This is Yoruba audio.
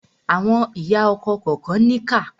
Àwọn ìyá ọkọ kànkan níkà.